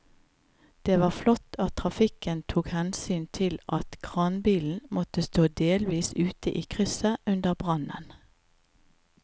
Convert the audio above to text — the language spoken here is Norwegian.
Det var flott at trafikken tok hensyn til at kranbilen måtte stå delvis ute i krysset under brannen.